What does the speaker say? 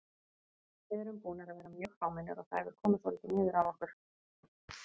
Við erum búnir að vera mjög fámennir og það hefur komið svolítið niður á okkur.